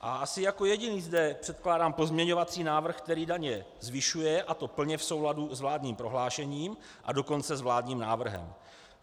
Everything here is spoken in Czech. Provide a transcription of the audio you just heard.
A asi jako jediný zde předkládám pozměňovací návrh, který daně zvyšuje, a to plně v souladu s vládním prohlášením, a dokonce s vládním návrhem.